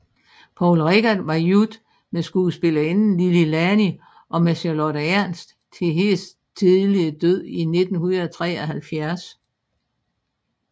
Poul Reichhardt var gift med skuespillerinderen Lili Lani og med Charlotte Ernst til hendes tidlige død i 1973